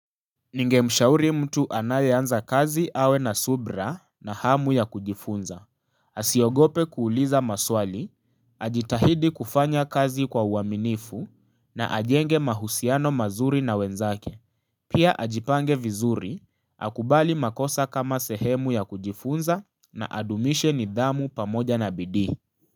Ningemshauri mtu anayeanza kazi awe na subra na hamu ya kujifunza, asiogope kuuliza maswali, ajitahidi kufanya kazi kwa uaminifu na ajenge mahusiano mazuri na wenzake, pia ajipange vizuri, akubali makosa kama sehemu ya kujifunza na adumishe nidhamu pamoja na bidii.